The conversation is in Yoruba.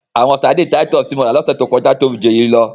Àwọn Sárḍíńí Títùsí tí mo ra ni òṣẹ tó kọ̀jà tóbi jù èyí lọ.